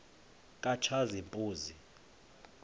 katshazimpuzi